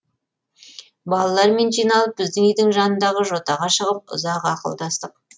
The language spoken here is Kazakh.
балалармен жиналып біздің үйдің жанындағы жотаға шығып ұзақ ақылдастық